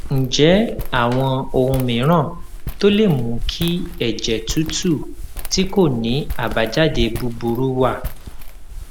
ǹjé àwọn ohun mìíràn tó lè mú kí èjè tútù tí kò ní àbájáde búburú wà